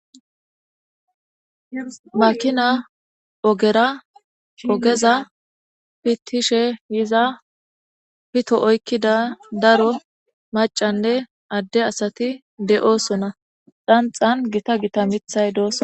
Makina ogera ogeza pitishe yiza pito oykkida daro macanne adde asati de7oosona dhanxan gita gita mithay doossona.